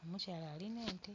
omukyala alin'ente.